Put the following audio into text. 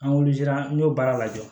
An wuli la an y'o baara lajɛ